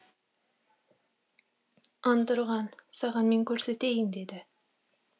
антұрған саған мен көрсетейін деді